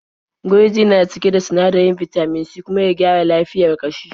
Gurji na cike da sinadarin bitamin C kuma ya gyara lafiyar ƙashi.